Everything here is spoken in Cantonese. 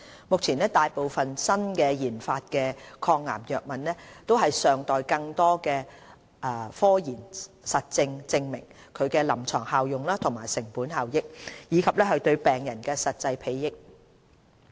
目前，大部分新研發的抗癌藥物尚待更多科研實證證明其臨床效用和成本效益，以及對病人的實際裨益。